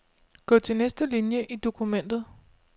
Gå til næste linie i dokumentet.